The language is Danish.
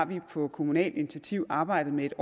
vi har på kommunalt initiativ arbejdet med